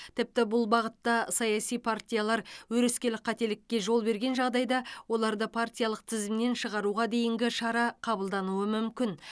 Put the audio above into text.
тіпті бұл бағытта саяси партиялар өрескел қателікке жол берген жағдайда оларды партиялық тізімнен шығаруға дейінгі шара қабылдануы мүмкін